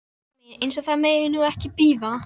Elskan mín. eins og það megi nú ekki bíða!